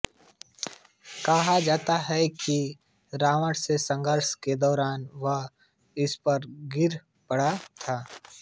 कहा जाता है कि रावण से संघर्ष के दौरान वह इस पर गिर पड़ा था